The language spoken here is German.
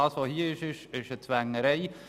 Was hier vorliegt, ist eine Zwängerei.